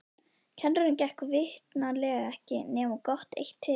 Kennurunum gekk vitanlega ekki nema gott eitt til.